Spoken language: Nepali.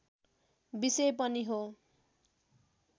विषय पनि हो